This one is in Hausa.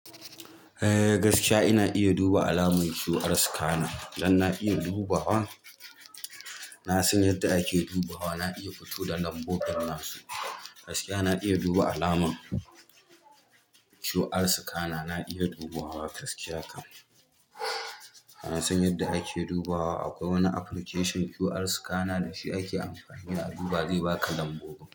Eh gaskiya ina iya duba alamar QR scanner. Don na iya dubawa, na san yadda ake dubawa, na iya fito da lambobin nasu. Gaskiya na iya duba alamar QR scanner, na iya dubawa gaskiya kam. Na san yadda ake dubawa. Akwai wani application QR scanner da shi ake amfani a duba, zai baka lambobi.